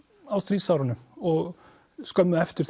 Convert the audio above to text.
á stríðsárunum og skömmu eftir